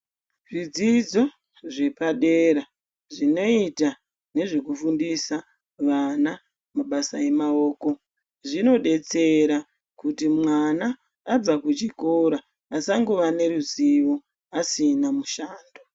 Zvidzidzo zvepadera zvinoita nezvekufundisa vana mabasa emaoko zvinodetsera kuti mwana abva kuchikora asangova neruzivo asina mushando.